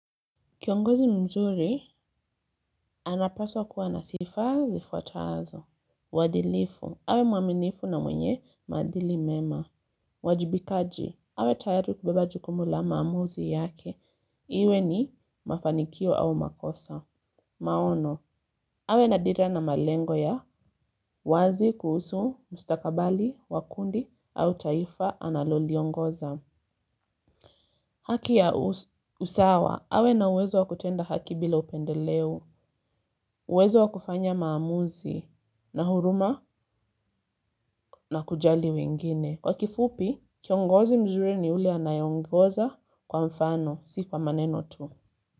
Kiongozi mzuri, anapaswa kuwa na sifa zifuatazo. Wadilifu, awe mwaminifu na mwenye madili mema. Wajibikaji, awe tayaru kubeba jukumula mamuzi yake. Iwe ni mafanikio au makosa. Maono, awe na dira na malengo ya. Wazi kuhusu, mstakabali, wa kundi, au taifa, analoli ongoza. Haki ya usawa, awe na uwezo wa kutenda haki bila upendeleo. Uwezo wa kufanya maamuzi na huruma na kujali wengine. Kwa kifupi, kiongozi mzure ni ule anayeongoza kwa mfano, si kwa maneno tu.